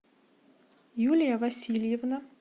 юлия васильевна